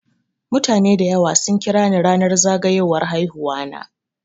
Mutane dayawa sun kirani ranar zagayowar haihuwana.